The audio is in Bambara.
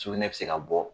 Sugunɛ bɛ se ka bɔ